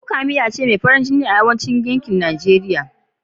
Kuka miya ce mai farin jini da yankin Arewacin Najeriya ke ci.